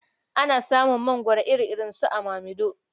Ana samun mangoro iri-iri su a Mamiɗo.